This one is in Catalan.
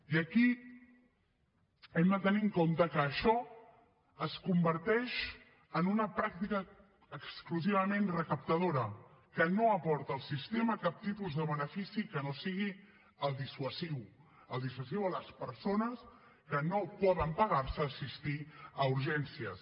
i aquí hem de tenir en compte que això es converteix en una pràctica exclusivament recaptadora que no aporta al sistema cap tipus de benefici que no sigui el dissuasiu el dissuasiu a les persones que no poden pagar se assistir a urgències